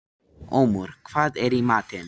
Ómar, hvað er í matinn?